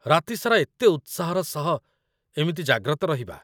ରାତି ସାରା ଏତେ ଉତ୍ସାହର ସହ ଏମିତି ଜାଗ୍ରତ ରହିବା